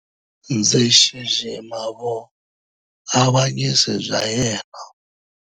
Ndzi xixima vuavanyisi bya yena.